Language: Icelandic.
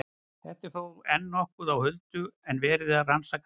Þetta er þó enn nokkuð á huldu og er verið að rannsaka það nánar.